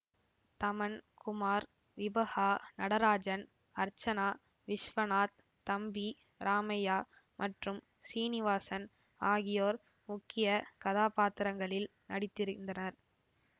தமன் குமார் விபஹா நடராஜன் அர்சசனா விஷ்வநாத் தம்பி ராமையா மற்றும் சீனிவாசன் ஆகியோர் முக்கிய கதாப்பாத்திரத்திங்களில் நடித்திரிந்தனர்